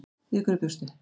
Við hverju bjóstu?